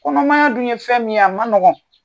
Kɔnɔmaya dun ye fɛn min ye a ma nɔgɔn